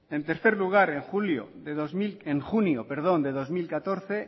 en tercer lugar en junio de dos mil catorce